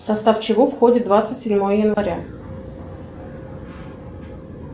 в состав чего входит двадцать седьмое января